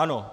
Ano.